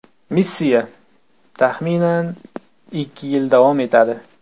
Missiya, taxminan, ikki yil davom etadi.